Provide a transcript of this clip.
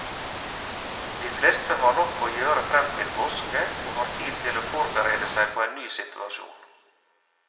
De fleste har nok å gjøre frem til påske, og har tid til å forberede seg på en ny situasjon.